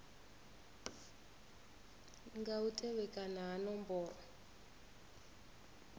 nga u tevhekana ha nomboro